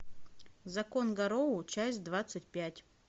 закон гарроу часть двадцать пять